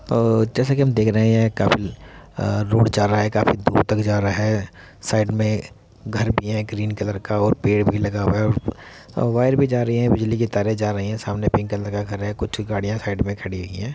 अ जैसा कि हम देख रहे है काफी आ रोड जा रहा है काफी दूर तक जा रहा है। साइड में घर भी है ग्रीन कलर का और पेड़ भी लगा हुआ है और वायर भी जा रही है बिजली की तारे जा रही है। सामने पिंक कलर का घर है कुछ गाडियाँ साइड मे खड़ी हुई है।